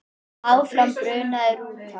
Áfram brunaði rútan.